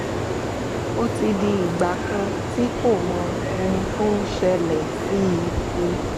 ó ti di ìgbà kan tí kò mọ ohun tó ń ṣẹlẹ̀ sí i